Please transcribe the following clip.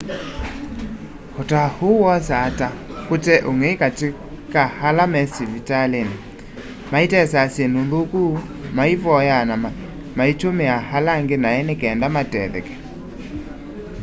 utao uu wosaa ta kute ung'ei kati ka ala me savaliini maitesaa syindu nthuku maivoyaa na maitumia ala angĩ nai ni kenda matetheke